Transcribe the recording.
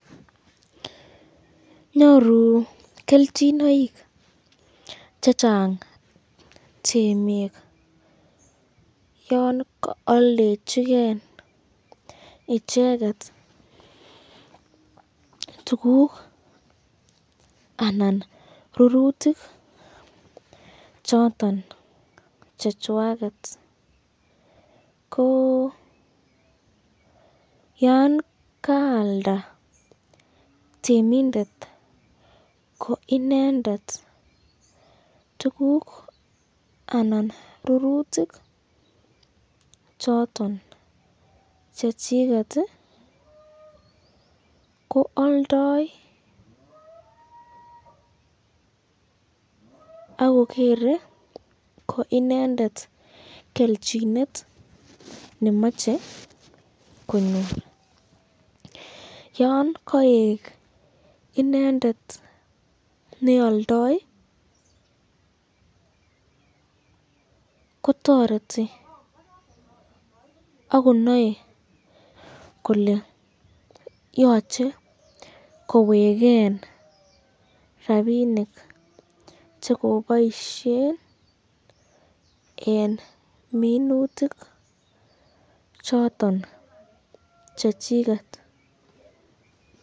Nyoru kelchinoik chengang temik yon kaaldechiken icheket tukuk anan rurutik choton chechwaket , ko yan kaalda temindet ko inendet tukuk anan rurutik choton chechiket, ko aldoe akogere ko inendet kelchinet nemache konyor, yon kaek inendet nealdae , kotoreti akonae kole yochei koweken rapinik chekiboisyen eng minutik choton chechiket.